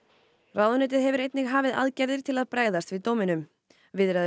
ráðuneytið hefur einnig hafið aðgerðir til að bregðast við dóminum viðræður